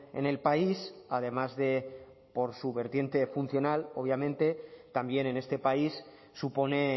en el país además de por su vertiente funcional obviamente también en este país supone